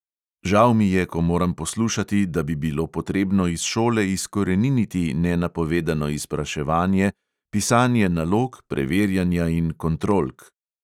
Žal mi je, ko moram poslušati, da bi bilo potrebno iz šole izkoreniniti nenapovedano izpraševanje, pisanje nalog, preverjanja in kontrolk.